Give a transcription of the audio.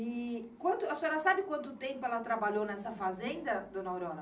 E quanto, a senhora sabe quanto tempo ela trabalhou nessa fazenda, dona Aurora?